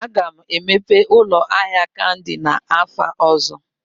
Aga m emepe ụlọ ahịa kandi n'afọ ọzọ